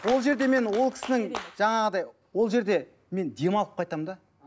ол жерде мен ол кісінің жаңағыдай ол жерде мен демалып қайтамын да